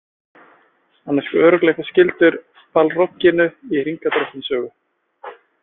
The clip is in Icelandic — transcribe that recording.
Hann er sko örugglega eitthvað skyldur Balrogginum í Hringadróttinssögu.